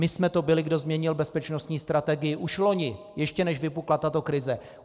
My jsme to byli, kdo změnil bezpečnostní strategii už loni, ještě než vypukla tato krize.